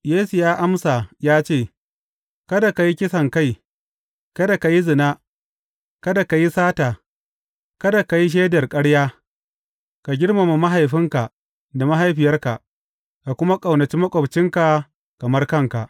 Yesu ya amsa ya ce, Kada ka yi kisankai, kada ka yi zina, kada ka yi sata, kada ka yi shaidar ƙarya, ka girmama mahaifinka da mahaifiyarka,’ ka kuma ƙaunaci maƙwabcinka kamar kanka.’